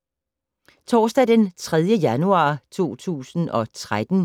Torsdag d. 3. januar 2013